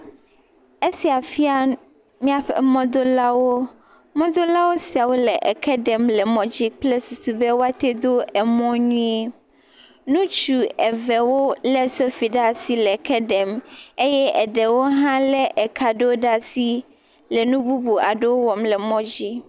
Esia fia míaƒe mɔdolawo. Mɔdolawo siawo le eke ɖem le emŋɔdzi kple susu be woate do emɔ nyuie. Nutsu eve wolé sofi ɖe asi le ke ɖem eye eɖewo hã lé eka ɖewo ɖaa si le nu bubu aɖewo wɔm le mɔdzi.